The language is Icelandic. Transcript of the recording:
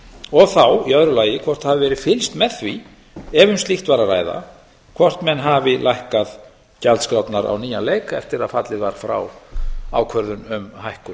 og þá í öðru lagi hvort það hafi verið fylgst með því ef um slíkt var að ræða hvort menn hafi lækkað gjaldskrárnar á nýjan leik eftir að fallið var frá ákvörðun um hækkun